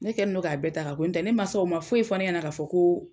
Ne kɛlen don k'a bɛɛ ta notɛ, ne mansaw ma foyi fɔ ne ɲɛna k'a fɔ ko